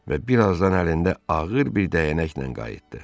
Və birazdan əlində ağır bir dəyənəklə qayıtdı.